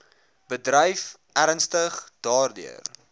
bedryf ernstig daardeur